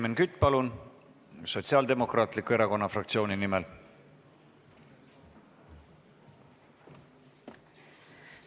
Helmen Kütt, palun, Sotsiaaldemokraatliku Erakonna fraktsiooni nimel!